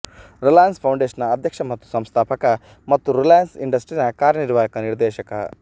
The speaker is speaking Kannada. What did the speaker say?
ರಿಲಯನ್ಸ್ ಫೌಂಡೇಷನ್ನ ಅಧ್ಯಕ್ಷ ಮತ್ತು ಸಂಸ್ಥಾಪಕ ಮತ್ತು ರಿಲಯನ್ಸ್ ಇಂಡಸ್ಟ್ರೀಸ್ನ ಕಾರ್ಯನಿರ್ವಾಹಕ ನಿರ್ದೇಶಕ